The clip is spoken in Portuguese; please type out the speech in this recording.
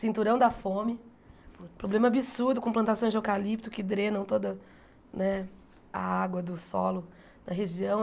Cinturão da Fome, problema absurdo com plantações de eucalipto que drenam toda né a água do solo da região.